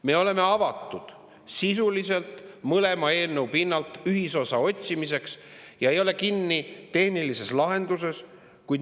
Me oleme avatud sisuliselt mõlema eelnõu pinnalt ühisosa otsimiseks ega ole kinni tehnilises lahenduses.